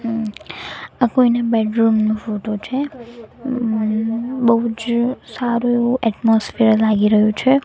અમ આ કોયના બેડરૂમ નુ ફોટો છે અંમ બોજ સારુ એવુ એટમોસ્ફિયર લાગી રહ્યું છે.